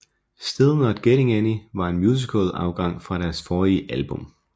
Still Not Getting Any var en musical afgang fra deres forrige album